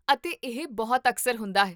ਅਤੇ ਇਹ ਬਹੁਤ ਅਕਸਰ ਹੁੰਦਾ ਹੈ